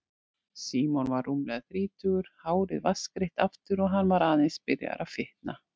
Símon var rúmlega þrítugur, hárið vatnsgreitt aftur og hann var aðeins byrjaður að fitna.